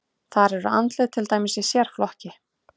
Þar eru andlit til dæmis í sérflokki.